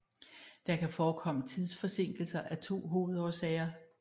Der kan forekomme tidsforsinkelser af to hovedårsager